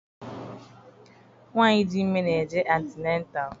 Nwaanyị dị ime na-eje antịnatal.